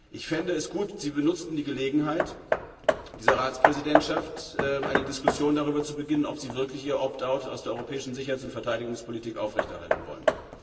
Ich fände es gut, wenn Sie die Gelegenheit dieser Ratspräsidentschaft benutzen würden, um eine Diskussion darüber zu beginnen, ob Sie wirklich Ihr Opt out aus der Europäischen Sicherheits und Verteidigungspolitik aufrechterhalten wollen.